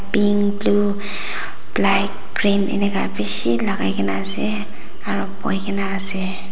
pink blue black cream enika bishi laga na ase aru bhuina ase.